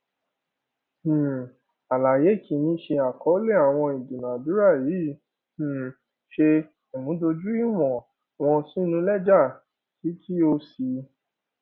um àlàyé kìíní ṣe àkọọlẹ àwọn ìdúnàádúrà yìí um ṣé ìmúdójú ìwọn wọn sínú lẹjà kí kí o sì